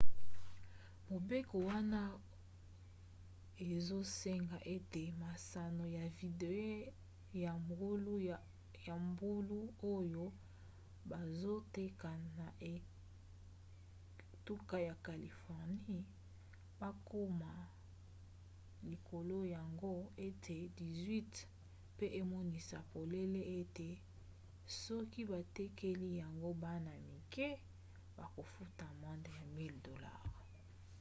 mobeko wana ezosenga ete masano ya video ya mbulu oyo bazoteka na etuka ya californie bakoma likolo ya ngo ete 18 pe emonisa polele ete soki batekeli yango bana-mike bakofunda amande ya 1000$